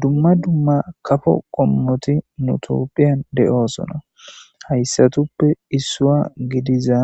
Dumma dumma kafo qommoti nu xuufiyan de'osona hayssatupoe issuwa gidiza